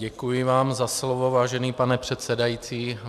Děkuji vám za slovo, vážený pane předsedající.